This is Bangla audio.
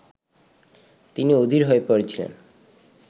তিনি অধীর হয়ে পড়েছিলেন